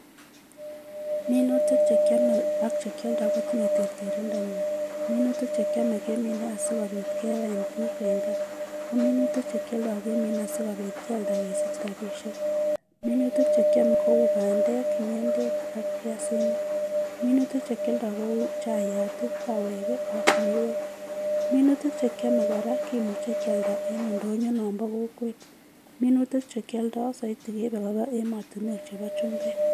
Minutik chekiome ak chekioldo kotinye terterindonywan, minutik chekiome kemine asiko biit kebaen biik en kaa ko minutik chekioldo kemine sikialda kesich rabishek minutik chekiome kou bandek, ng'endek ak biasinik minutik chekioldo kou chaiati, kaweki ak miweek minutik chekiome kora kimuche kialda en ndonyo nombo kokwet minutik chekioldo soiti keibe Koba emotinwek chebo chumbek.